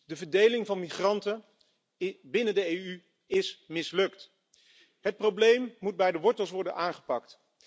De verdeling van migranten binnen de EU is mislukt. Het probleem moet bij de wortel worden aangepakt.